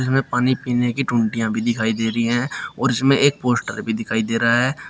इसमे पानी पीने की टोंटियां भी दिखाई दे रही हैं और इसमें एक पोस्टर भी दिखाई दे रहा है।